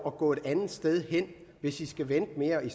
at gå et andet sted hen hvis de skulle vente i mere end